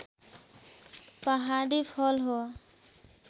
पहाडी फल हो